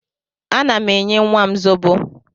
Ana m enye nnwa m zobo